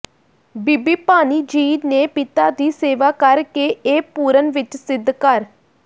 ਬੀਬੀ ਭਾਨੀ ਜੀ ਨੇ ਪਿਤਾ ਦੀ ਸੇਵਾ ਕਰ ਕੇ ਇਹ ਪੂਰਨ ਵਿੱਚ ਸਿੱਧ ਕਰ